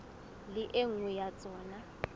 le e nngwe ya tsona